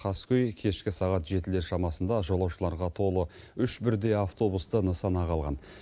қаскөй кешкі сағат жетілер шамасында жолаушыларға толы үш бірдей автобусты нысанаға алған